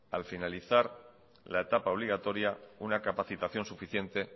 al finalizar la etapa obligatoria una capacitación suficiente